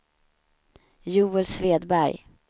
Joel Svedberg